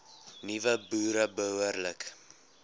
nuwe boere behoorlik